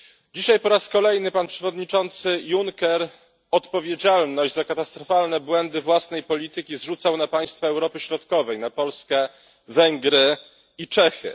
Dzisiaj po raz kolejny pan przewodniczący Juncker odpowiedzialność za katastrofalne błędy własnej polityki zrzucał na państwa Europy Środkowej na Polskę, Węgry i Czechy.